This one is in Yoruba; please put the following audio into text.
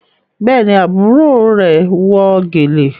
Béèni àbúrò rẹ wọ gèlè.